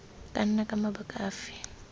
ka nna ka mabaka afe